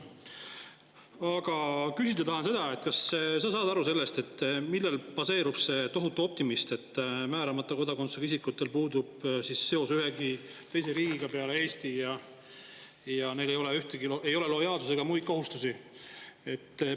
Aga küsida tahan seda: kas sa saad aru, millel baseerub see tohutu optimism, et määramata kodakondsusega isikutel puudub seos ühegi teise riigiga peale Eesti ja et neil ei ole lojaalsust ega muid kohustusi?